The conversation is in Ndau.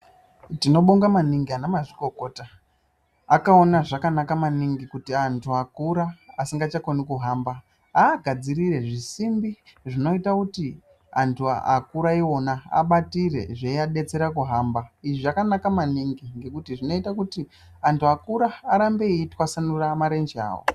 Tinobonga maningi ana mazvikokota akaona zvaka naka maningi kuti antu akura asingacha koni kuhamba aagadzirire zvisimbi zvinoita kuti antu akura iwona abatire zvei adetsere kuhamba izvi zvakanaka maningi ngekuti zvinoita kuti antu akaura arambe eyi twasanura marenje awo.